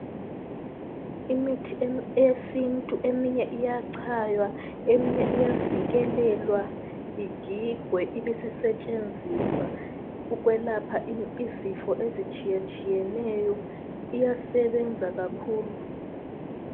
Imithi eyesintu eminye iyachaywa eminye iyasikelelwa igigwe ibesisetshenziswa ukwelapha izifo ezitshiyetshiyeneyo iyasebenza kakhulu